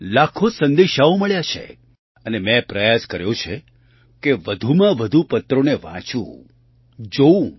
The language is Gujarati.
લાખો સંદેશાઓ મળ્યા છે અને મેં પ્રયાસ કર્યો છે કે વધુમાં વધુ પત્રોને વાંચું જોઉં